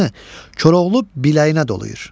Koroğlu biləyinə dolayır.